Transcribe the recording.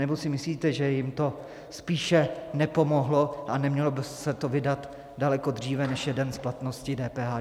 Anebo si myslíte, že jim to spíše nepomohlo, a nemělo by se to vydat daleko dříve, než je den splatnosti DPH?